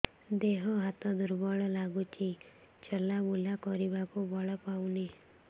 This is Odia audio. ଦେହ ହାତ ଦୁର୍ବଳ ଲାଗୁଛି ଚଲାବୁଲା କରିବାକୁ ବଳ ପାଉନି